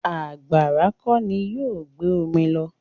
Àgbàrá kọ́ ni yóò gbé omi lọ.